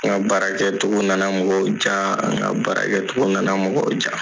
N ka baarakɛcogo nana mɔgɔw ja an ka barakɛcogo nana mɔgɔw ja.